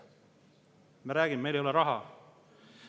Me räägime, et meil ei ole raha.